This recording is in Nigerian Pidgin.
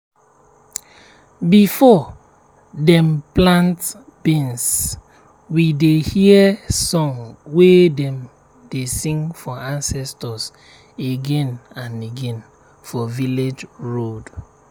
before dem plant beans we dey hear song way dem dey sing for ancestors again and again for village road.